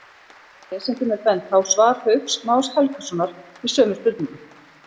Lesendum er bent á svar Hauks Más Helgasonar við sömu spurningu.